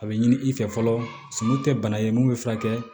A bɛ ɲini i fɛ fɔlɔ sumu tɛ bana ye mun bɛ furakɛ